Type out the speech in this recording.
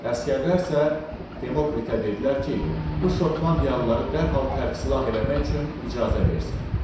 Əsgərlər isə Demokritə dedilər ki, bu Şotlandiyalıları dərhal tərk silah eləmək üçün icazə versin.